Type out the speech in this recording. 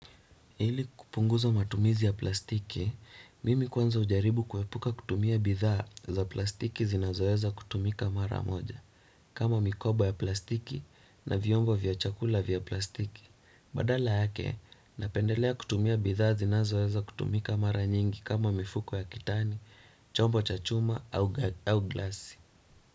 Ilikupunguza matumizi ya plastiki, mimi kwanza hujaribu kuepuka kutumia bidhaa za plastiki zinazoweza kutumika mara moja. Kama mikoba ya plastiki na vyombo vya chakula vya plastiki. Badala yake, ninapendelea kutumia bidhaa zinazoweza kutumika mara nyingi kama mifuko ya kitani, chombo cha chuma au glasi.